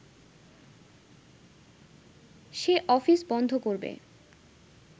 সে office বন্ধ করবে